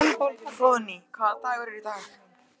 Hróðný, hvaða dagur er í dag?